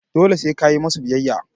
dole se kayi musu biyayya